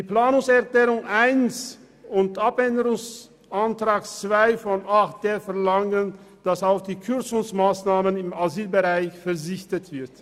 Die Planungserklärung 1 und der Abänderungsantrag 2 zu 8.d verlangen, dass auf die Kürzungsmassnahmen im Asylbereich zu verzichten ist.